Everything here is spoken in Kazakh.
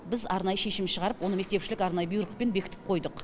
біз арнайы шешім шығарып оны мектепішілік арнайы бұйрықпен бекітіп қойыдық